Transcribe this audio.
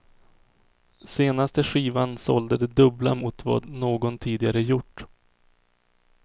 Senaste skivan sålde det dubbla mot vad någon tidigare gjort.